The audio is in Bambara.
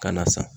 Ka na san